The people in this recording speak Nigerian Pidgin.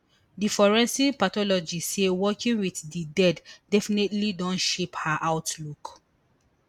di forensic pathologist say working wit di dead definitely don shape her outlook